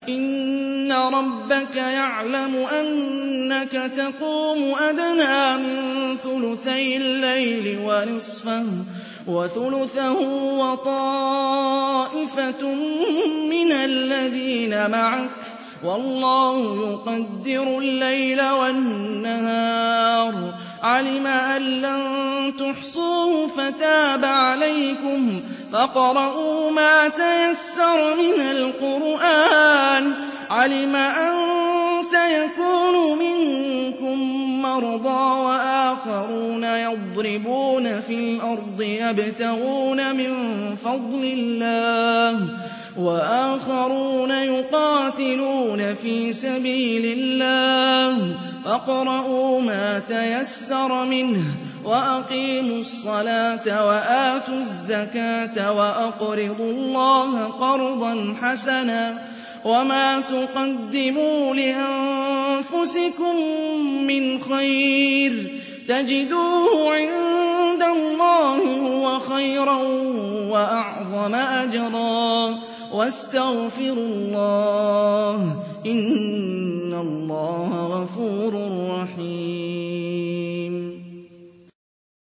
۞ إِنَّ رَبَّكَ يَعْلَمُ أَنَّكَ تَقُومُ أَدْنَىٰ مِن ثُلُثَيِ اللَّيْلِ وَنِصْفَهُ وَثُلُثَهُ وَطَائِفَةٌ مِّنَ الَّذِينَ مَعَكَ ۚ وَاللَّهُ يُقَدِّرُ اللَّيْلَ وَالنَّهَارَ ۚ عَلِمَ أَن لَّن تُحْصُوهُ فَتَابَ عَلَيْكُمْ ۖ فَاقْرَءُوا مَا تَيَسَّرَ مِنَ الْقُرْآنِ ۚ عَلِمَ أَن سَيَكُونُ مِنكُم مَّرْضَىٰ ۙ وَآخَرُونَ يَضْرِبُونَ فِي الْأَرْضِ يَبْتَغُونَ مِن فَضْلِ اللَّهِ ۙ وَآخَرُونَ يُقَاتِلُونَ فِي سَبِيلِ اللَّهِ ۖ فَاقْرَءُوا مَا تَيَسَّرَ مِنْهُ ۚ وَأَقِيمُوا الصَّلَاةَ وَآتُوا الزَّكَاةَ وَأَقْرِضُوا اللَّهَ قَرْضًا حَسَنًا ۚ وَمَا تُقَدِّمُوا لِأَنفُسِكُم مِّنْ خَيْرٍ تَجِدُوهُ عِندَ اللَّهِ هُوَ خَيْرًا وَأَعْظَمَ أَجْرًا ۚ وَاسْتَغْفِرُوا اللَّهَ ۖ إِنَّ اللَّهَ غَفُورٌ رَّحِيمٌ